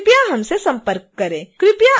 कृपया हमसे संपर्क करें